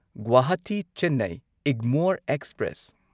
Guwahati Chennai Egmore express